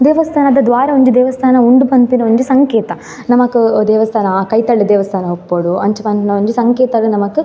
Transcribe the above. ದೇವಸ್ಥಾನದ ದ್ವಾರ ಒಂಜಿ ದೇವಸ್ಥಾನ ಉಂಡ್ ಪನ್ಪಿನ ಒಂಜಿ ಸಂಕೇತ ನಮಕ್ ದೇವಸ್ಥಾನ ಅ ಕೈತಲ್ಡೆ ದೇವಸ್ಥಾನ ಉಪ್ಪೊಡು ಅಂಚ ಪನ್ಪುನ ಒಂಜಿ ಸಂಕೇತದ ನಮಕ್ --